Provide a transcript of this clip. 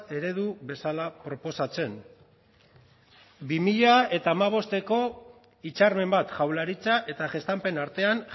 eredu bezala proposatzen bi mila hamabosteko hitzarmen bat jaurlaritza eta gestampen artean